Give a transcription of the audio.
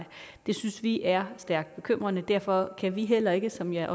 det synes vi er stærkt bekymrende derfor kan vi heller ikke som jeg